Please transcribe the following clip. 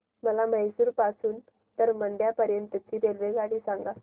मला म्हैसूर पासून तर मंड्या पर्यंत ची रेल्वेगाडी सांगा